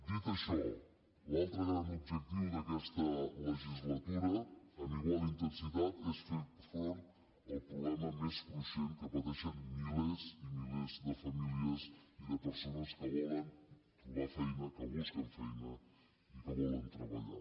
dit això l’altre gran objectiu d’aquesta legislatura amb igual intensitat és fer front al problema més cruixent que pateixen milers i milers de famílies i de persones que volen trobar feina que busquen feina i que volen treballar